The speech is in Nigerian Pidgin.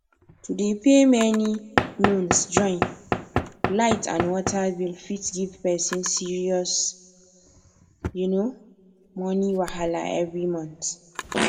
to dey pay many loans join light and water bill fit give person serious um money wahala every month